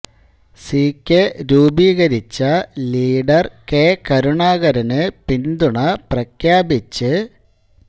C K രൂപീകരിച്ച leader K കരുണാകരന് പിന്തുണ പ്രഖ്യാപിച്ച്